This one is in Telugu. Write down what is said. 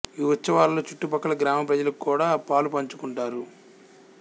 ఈ ఉత్సవాలలో చుట్టు ప్రక్కల గ్రామ ప్రజలు కూడా పాలు పంచుకుంటారు